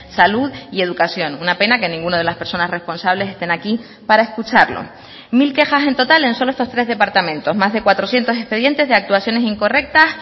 salud y educación una pena que ninguna de las personas responsables estén aquí para escucharlo mil quejas en total en solo estos tres departamentos más de cuatrocientos expedientes de actuaciones incorrectas